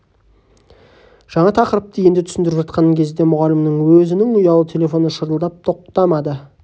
жаңа тақырыпты енді түсіндіріп жатқан кезде мұғалімнің өзінің ұялы телефоны шырылдап тоқтамады